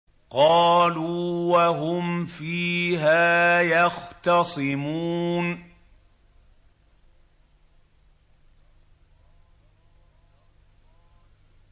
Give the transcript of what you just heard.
قَالُوا وَهُمْ فِيهَا يَخْتَصِمُونَ